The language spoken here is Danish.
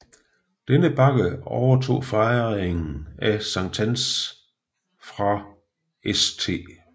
Denne bakke overtog fejringen af Sankt Hans fra St